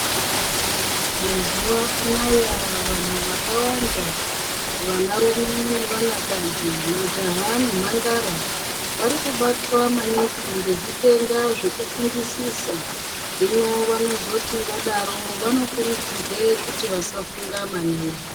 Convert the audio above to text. Mazuvano aya vantu vakawanda vanarume nevanakadzi majaha nemandara vari kubatwa maningi ngezvitenda zvekufungisisa zvino vanozoti vadaro vanokurudzirwe kuti vasafunga maningi.